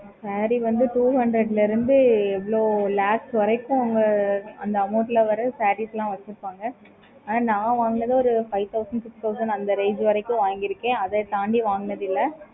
okay mam